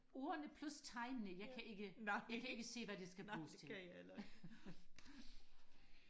ordene plus tegnene jeg kan ikke jeg kan ikke se hvad det skal bruges til